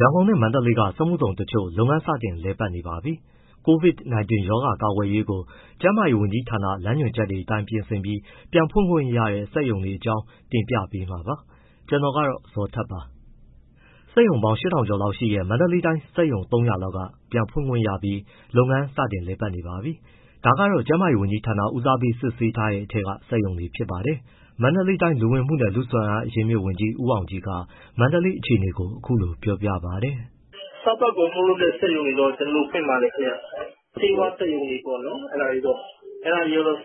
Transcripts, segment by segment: ရန်ကုန်နဲ့ မန္တလေး စက်မှုဇုန်တချို့ လုပ်ငန်းစတင်လည်ပတ်နေပါပြီ။ COVID-19 ရောဂါကာကွယ်ရေးကို ကျန်းမာရေးဝန်ကြီးဌာန ညွှန်ကြားချက်အတိုင်း ပြင်ဆင်ပြီး ပြန်ဖွင့်ခွင့်ရတဲ့ စက်ရုံတွေအကြောင်းကို ဗွီအိုအေမြန်မာပိုင်းသတင်းထောက် ကိုဇော်ထက်က တင်ပြပေးမှာပါ။ စက်ရုံပေါင်း ၈,၀၀၀ ကျော်ရှိတဲ့ မန္တလေးတိုင်းက စက်ရုံ ၃၀၀ လောက် ပြန်ဖွင့်ခွင့်ရပြီး လုပ်ငန်းလည်ပတ်နေပါပြီ။ ဒါကတော့ ကျန်းမာရေးဝန်ကြီးဌာန ဦးစားပေး စစ်ဆေးတဲ့အထဲက စက်ရုံတွေဖြစ်ပါတယ်။ မန္တလေးတိုင်း လူဝင်မှုနဲ့ လူ့စွမ်းအားအရင်းအမြစ်ဝန်ကြီး ဦးအောင်ကြည်က မန္တလေးအခြေအနေကို အခုလိုပြောပြပါတယ်။ “စားသောက်ကုန်ထုတ်လုပ်တဲ့ စက်ရုံတွေတော့ ကျနော်တို့ ဖွင့်ပါတယ်ခင်ဗျ။ ဆေးဝါးစက်ရုံတွေပေါ့နော် အဲဒါတွေက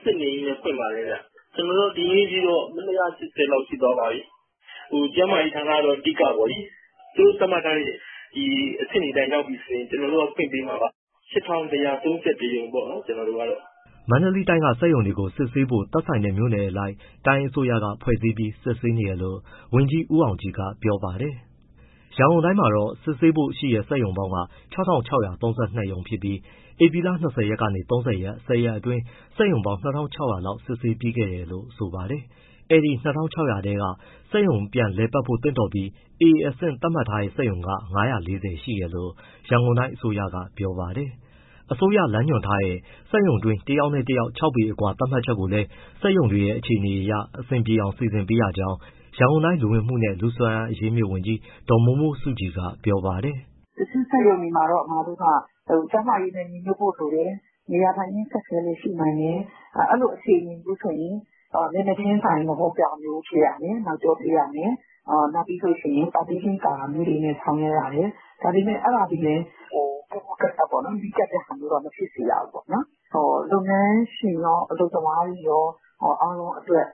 စစ်နေရင်းနဲ့ ဖွင့်ပါတယ်။ ကျနော်တို့ ဒီနေ့အထိတော့ ( ရုံပေါင်း) ၂၈၀ လောက်ရှိသွားပါပြီ။ ကျန်းမာရေးဝန်ကြီးဌာနကတော့ အဓိကပေါ့လေ။ သူတို့သတ်မှတ်ထားတဲ့ အဆင့်တွေအတိုင်း ရောက်ပြီဆိုရင် ကျနော်တို့က ဖွင့်ပေးမှာပါ။ ၈,၁၃၁ ရုံပေါ့ ကျနော်တို့ (မန္တလေး) ကတော့။” မန္တလေးတိုင်းက စက်ရုံတွေကို စစ်ဆေးဖို့ သက်ဆိုင်တဲ့ မြို့နယ်အလိုက် တိုင်းအစိုးရက ဖွဲ့စည်းပေးပြီး စစ်ဆေးနေတယ်လို့ ဝန်ကြီး ဦးအောင်ကြည်က ပြောပါတယ်။ ရန်ကုန်တိုင်းမှာ စစ်ဆေးဖို့ ရှိတဲ့ စက်ရုံစုစုပေါင်းက ၆,၆၃၂ ရုံဖြစ်ပြီး ဧပြီလ ၂၀ ကနေ ၃၀၊ ၁၀ ရက်အတွင်း စက်ရုံပေါင်း ၂,၆၀၀ လောက်စစ်ဆေးပြီးခဲ့တယ်လို့ ဆိုပါတယ်။ ဒီ ၂,၆၀၀ ထဲက စက်ရုံပြန်လည်ပတ်ဖို့ သင့်တော်ပြီး A အဆင့်သတ်မှတ်ထားတဲ့ စက်ရုံက ၅၄၀ ရှိတယ်လို့ ရန်ကုန်တိုင်းအစိုးရက ပြောပါတယ်။ အစိုးရလမ်းညွှန်ထားတဲ့ စက်ရုံတွင်း တယောက်နဲ့တယောက် ၆ ပေ အကွာသတ်မှတ်ချက်ကိုလည်း စက်ရုံတွေအခြေအနေအရ အဆင်ပြေအောင် စီစဉ်ပေးရကြောင်း ရန်ကုန်တိုင်း လူဝင်မှုနဲ့ လူ့စွမ်းအားအရင်းအမြစ်ဝန်ကြီး ဒေါ်မိုးမိုးစုကြည်က ပြောပါတယ်။ “တချို့စက်ရုံတွေမှာတော့ ကျန်းမာရေးနဲ့ ညီညွတ်ဖို့ဆိုရင် နေရာထိုင်ခင်း အခက်အခဲလည်း ရှိနိုင်တယ်။ အဲဒီလို အခြေအနေမျိုးဆိုရင် မျက်နှာချင်းဆိုင် မဟုတ်တဲ့ဟာမျိုး ဖြစ်ရမယ်၊ နောက်ကျောပေးရမယ်။ နောက်ပြီး partition ကာတာမျိုးတွေနဲ့ ဆောင်ရွက်ရမယ်။ ဒါပေမဲ့ အဲဒါသည်ပင် ပူးပူးကပ်ကပ်၊ နီးကပ်တဲ့ဟာမျိုးတော့ မဖြစ်ရဘူးပေါ့။ လုပ်ငန်းရှင်ရော၊ အလုပ်သမားတွေရော အားလုံးအတွက်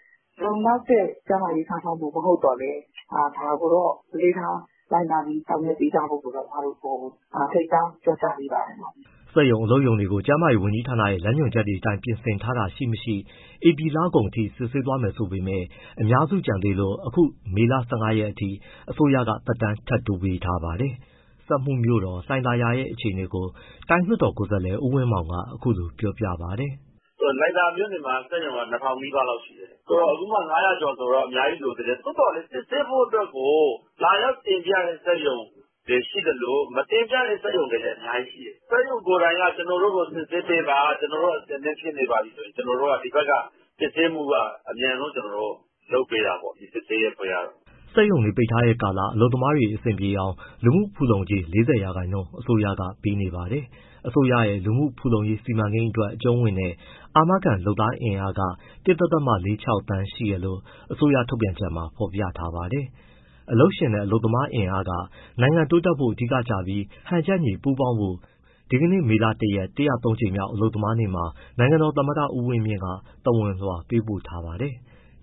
လုံလောက်တဲ့ ကျန်းမာရေး စောင့်ရှောက်မှု မဟုတ်သော်လည်း ဒါကိုတော့ အလေးထား လိုက်နာပြီး ဆောင်ရွက်ပေးကြဖို့ ကျမတို့ ထိန်းကြောင်း ပြောကြားပေးပါတယ်။” စက်ရုံ၊ အလုပ်ရုံတွေကို ကျန်းမာရေးဝန်ကြီးဌာနရဲ့ လမ်းညွှန်ချက်တွေအတိုင်း ပြင်ဆင်ထားတာ ရှိ၊ မရှိ ဧပြီလကုန်ထိ စစ်ဆေးသွားမယ်ဆိုပေမဲ့ အများစုကျန်သေးလို့ အခု မေလ ၁၅ ရက်အထိ အစိုးရက သက်တမ်း ထပ်တိုးထားပါတယ်။ စက်မှုမြို့တော် လှိုင်သာယာရဲ့အခြေအနေကို တိုင်းလွှတ်ကိုယ်စားလှယ် ဦးဝင်းမောင်က အခုလိုပြောပါတယ်။ “လှိုင်သာယာမှာ စက်ရုံပေါင်း ၂,၀၀၀ နီးပါးလောက်ရှိတယ်။ အခုမှ ၅၀၀ ကျော်ဆိုတော့ အများကြီးလိုသေးတယ်။ သို့သော်လည်း စစ်ဆေးဖို့အတွက်ကို လာရောက်တင်ပြတဲ့စက်ရုံတွေလည်းရှိသလို၊ မတင်ပြတဲ့စက်ရုံတွေလည်း အများကြီးရှိတယ်။ စက်ရုံကိုယ်တိုင်က ကျနော်တို့ကို စစ်ဆေးပေးပါ ကျနော်တို့ အဆင်သင့်ဖြစ်နေပါပြီဆိုရင် ဒီဘက်က စစ်ဆေးမှုက အမြန်ဆုံးလုပ်ပေးတာပေါ့၊ စစ်ဆေးရေးအဖွဲ့က။” စက်ရုံတွေပိတ်ထားတဲ့ကာလ အလုပ်သမားတွေ အဆင်ပြေအောင် လူမှုဖူလုံကြေး ၄၀ ရာခိုင်နှုန်း အစိုးရက ပေးနေပါတယ်။ အစိုးရရဲ့ လူမှုဖူလုံရေး စီမံကိန်းအတွက် အကျုံးဝင်တဲ့ အာမခံလုပ်သားအင်အား ၁.၄၆ သန်း ရှိတယ်လို့ အစိုးရထုတ်ပြန်ချက်မှာ ဖော်ပြထားပါတယ်။ အလုပ်ရှင်နဲ့ အလုပ်သမားအင်အားက နိုင်ငံတိုးတက်ဖို့ အဓိကကျပြီး ဟန်ချက်ညီ ပူးပေါင်းကြဖို့ ဒီနေ့ မေလ ၁ ရက် (၁၃၀) ကြိမ်မြောက် အလုပ်သမားနေ့မှာ နိုင်ငံတော်သမ္မတ ဦးဝင်းမြင့်က သဝဏ်လွှာ ပေးပို့ထားတာပါ။